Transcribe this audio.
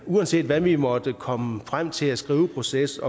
uanset hvad vi måtte komme frem til i skriveprocessen